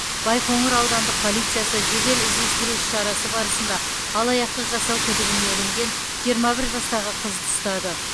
байқоңыр аудандық полициясы жедел іздестіру іс шарасы барысында алаяқтық жасау күдігіне ілінген жиырма бір жастағы қызды ұстады